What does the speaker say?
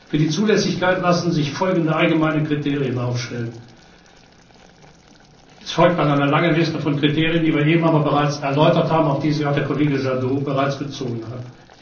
Für die Zulässigkeit lassen sich folgende allgemeine Kriterien aufstellen Es folgt dann eine lange Liste von Kriterien, die wir eben aber bereits erläutert haben, auf die sich auch der Kollege Jadot bereits bezogen hat.